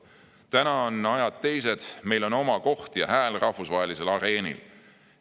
Nüüd on ajad teised – meil on oma koht ja hääl rahvusvahelisel areenil.